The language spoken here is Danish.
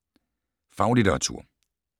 Faglitteratur